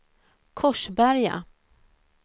Korsberga